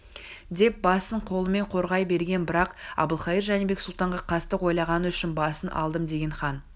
деп басын қолымен қорғай берген бірақ әбілқайыр жәнібек сұлтанға қастық ойлағаны үшін басын алдым деген хан